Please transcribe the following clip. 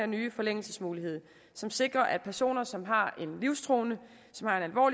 nye forlængelsesmulighed som sikrer at personer som har en livstruende